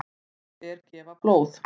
Það er gefa blóð.